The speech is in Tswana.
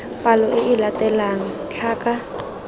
palo e e latelang tlhaka